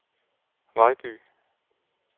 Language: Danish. Vejby